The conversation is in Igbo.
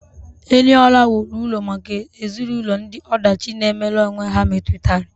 Eniola wuru ụlọ maka ezinụlọ ndị ọdachi na-emere onwe ha metụtara.